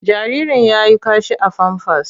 Jaririn ya yi kashi a famfas.